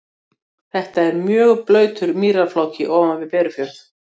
Þetta er mjög blautur mýrarfláki ofan við Berufjörð.